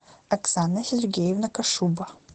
оксана сергеевна кошуба